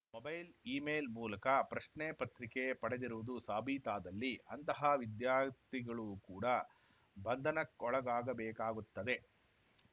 mobile email ಮೂಲಕ ಪ್ರಶ್ನೆ ಪತ್ರಿಕೆ ಪಡೆದಿರುವುದು ಸಾಬೀತಾದಲ್ಲಿ ಅಂತಹ ವಿದ್ಯಾರ್ಥಿಗಳು ಕೂಡ ಬಂಧನಕ್ಕೊಳಗಾಗಬೇಕಾಗುತ್ತದೆ